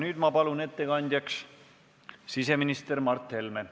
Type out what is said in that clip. Nüüd ma palun ettekandjaks siseminister Mart Helme.